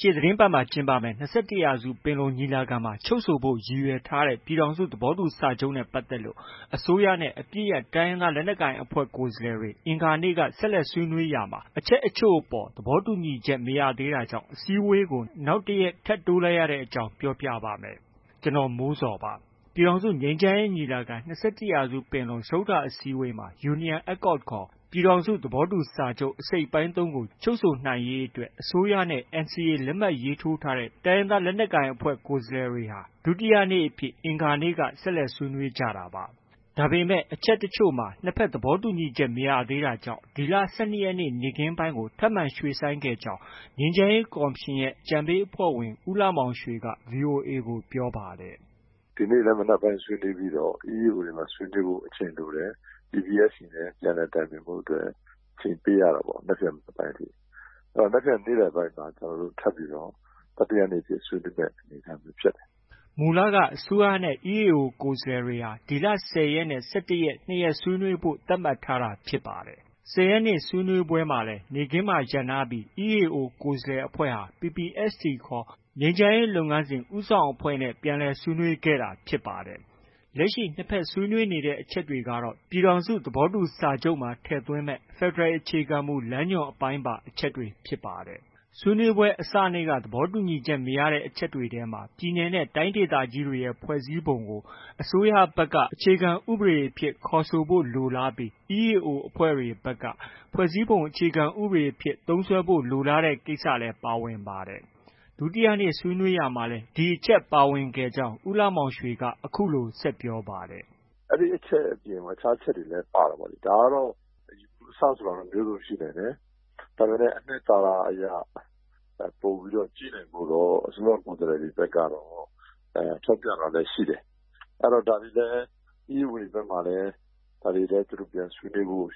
ရှေ့သီတင်းပတ်မှာ ကျင်းပမယ့် ၂၁-ရာစုပင်လုံ ညီလာခံမှာ ချုပ်ဆိုဖို့ ရည်ရွယ်ထားတဲ့ ပြည်ထောင်စု သဘောတူစာချုပ်နဲ့ ပတ်သက်လို့ အစိုးရနဲ့ အပစ်ရပ်တိုင်းရင်းသားလက်နက်ကိုင်အဖွဲ့ ကိုယ်စားလှယ်တွေ အင်္ဂါနေ့က ဆက်လက်ဆွေးနွေးရာမှာ အချက်အချို့အပေါ် သဘောတူညီချက် မရသေးတာကြောင့် အစည်းအဝေးကို နောက်တစ်ရက်ထပ်တိုးလိုက်ရတဲ့အကြောင်း ပြောပြပါမယ်။ ဗွီအိုအေမြန်မာပိုင်းသတင်းထောက် ကိုမိုးဇော် တင်ပြထားပါတယ်။ ပြည်ထောင်စုငြိမ်းချမ်းရေးညီလာခံ- ၂၁ရာစုပင်လုံ စတုတ္ထအစည်းအဝေးမှာ Union Accord ခေါ် ပြည်ထောင်စုသဘောတူစာချုပ် အစိတ်အပိုင်း ၃ ကို ချုပ်ဆိုနိုင်ရေးအတွက် အစိုးရနဲ့ NCA လက်မှတ်ရေးထိုးထားတဲ့ တိုင်းရင်းသား လက်နက်ကိုင် ကိုယ်စားလှယ်တွေဟာ ဒုတိယနေ့အဖြစ် အင်္ဂါနေ့က ဆက်လက် ဆွေးနွေးကြတာပါ။ ဒါပေမဲ့ အချက်တချို့မှာ နှစ်ဘက် သဘောတူညီချက် မရသေးတာကြောင့် ဒီလ ၁၂ရက်နေ့ နေ့ခင်းပိုင်းကို ထပ်မံ ရွှေ့ဆိုင်းခဲ့ကြောင်း ငြိမ်းချမ်းရေးကော်မရှင်ရဲ့ အကြံပေးအဖွဲ့ဝင် ဦးလှမောင်ရွှေက VOA ကို ပြောပါတယ်။ “ ဒီနေ့လည်း မနက်ပိုင်းဆွေးနွေးပြီးတော့ EAO တွေမှာ ဆွေးနွေးဖို့ အချိန်လိုတယ်။ PPST နဲ့ ပြန်လည် တိုင်ပင်ဖို့အတွက် အချိန်ပေးရတာပေါ့။ မနက်ဖြန် မနက်ပိုင်းအထိ၊ အဲတော့ မနက်ဖြန် နေ့လည်ပိုင်းမှာ ကျနော်တို့ ထပ်ပြီးတော့ တတိယနေ့အဖြစ် ဆက်လက် ဆွေးနွေးမယ့် အနေအထားမျိုးဖြစ်တယ်။” မူလက အစိုးရနဲ့ EAO ကိုယ်စားလှယ်တွေဟာ ဒီလ ၁၀ရက်နေ့နဲ့ ၁၁ရက် ၂ရက်ဆွေးနွေးဖို့ သတ်မှတ်ထားတာ ဖြစ်ပါတယ်။ ၁၀ရက်နေ့ ဆွေးနွေးပွဲမှာလည်း နေ့ခင်းမှာ ရပ်နားပြီး EAO ကိုယ်စားလှယ်အဖွဲ့ဟာ PPST ခေါ် ငြိမ်းချမ်းရေး လုပ်ငန်းစဉ် ဦးဆောင်အဖွဲ့ဲ ပြန်လည်ဆွေးနွေးခဲ့တာဖြစ်ပါတယ်။ လက်ရှိ နှစ်ဘက်ဆွေးနွေးနေတဲ့အချက်တွေကတော့ ပြည်ထောင်စုသဘောတူစာချုပ်မှာ ထည့်သွင်းမယ့် ဖက်ဒရယ် အခြေခံမူလမ်းညွှန် အပိုင်းပါ အချက်တွေ ဖြစ်ပါတယ်။ ဆွေးနွေးပွဲအစနေ့က သဘောတူညီချက် မရသေးတဲ့အချက်တွေထဲမှာတော့ ပြည်နယ်နဲ့ တိုင်းဒေသကြီးတွေရဲ့ ဖွဲ့စည်းပုံကို အစိုးရဘက်က အခြေခံဥပဒေအဖြစ် ခေါ်ဆိုဖို့ လိုလားပြီး EAO တွေဘက်က ဖွဲ့စည်းပုံအခြေခံဥပဒေအဖြစ် သုံးစွဲဖို့ လိုလားနေတဲ့ ကိစ္စလည်း ပါဝင်ခဲ့ပါတယ်။ ဒုတိယနေ့ ဆွေးနွေး ရာမှာလည်း ဒီအချက်ပါဝင်ခဲ့ကြောင်း ဦးလှမောင်ရွှေက အခုလို ဆက်ပြောပါတယ်။ “ အဲဒီအချက်အပြင် အခြားအချက်တွေလည်း ပါတာပေါ့လေ။ ဒါကတော့ အယူအဆ ဆိုတာတော့ မျိုးစုံရှိနိုင်တယ်။ ဒါပေမယ့် အနှစ်သာရ အရ ပိုပြီးကြည့်နိုင်ဖို့တော့ အစိုးရကိုယ်စားလှယ်ဘက်ကတော့ ထောက်ပြတာလည်း ရှိတယ်။ အဲတော့ ဒါတွေလည်း EAO တွေဘက်မှာလည်း ဒါတွေလည်း ပြန်ဆွေးနွေးဖို့